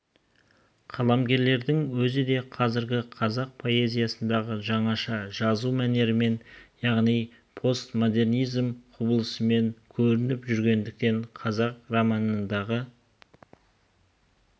қаламгердің өзі де қазіргі қазақ прозасындағы жаңаша жазу мәнерімен яғни постмодернизм құбылысымен көрініп жүргендіктен қазақ романындағы